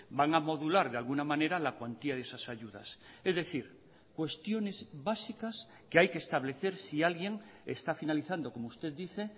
van a modular de alguna manera la cuantía de esas ayudas es decir cuestiones básicas que hay que establecer si alguien esta finalizando como usted dice